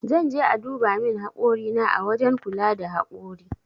Zan je aduba min hakori na ã wajen kula da hakori.